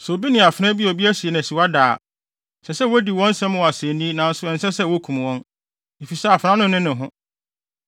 “ ‘Sɛ obi ne afenaa bi a obi asi no asiwa da a, ɛsɛ sɛ wodi wɔn asɛm wɔ asennii nanso ɛnsɛ sɛ wokum wɔn, efisɛ afenaa no nne ho.